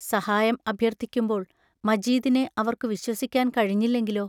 സഹായം അഭ്യർത്ഥിക്കുമ്പോൾ മജീദിനെ അവർക്കു വിശ്വസിക്കാൻ കഴിഞ്ഞില്ലെങ്കിലോ?